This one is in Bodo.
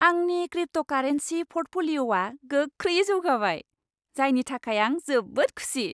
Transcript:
आंनि क्रिप्ट'कारेन्सि प'र्टफलिय'आ गोख्रैयै जौगाबाय, जायनि थाखाय आं जोबोद खुसि।